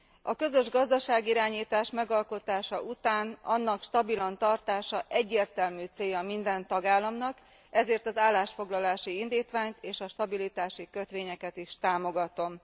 A közös gazdaságirányítás megalkotása után, annak stabilan tartása egyértelmű célja minden tagállamnak, ezért az állásfoglalási indítványt és a stabilitási kötvényeket is támogatom.